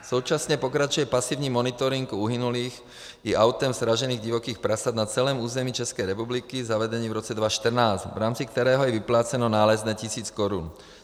Současně pokračuje pasivní monitoring uhynulých i autem sražených divokých prasat na celém území České republiky zavedený v roce 2014, v rámci kterého je vypláceno nálezné tisíc korun.